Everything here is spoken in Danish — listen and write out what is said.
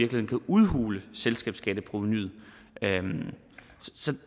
kan udhule selskabsskatteprovenuet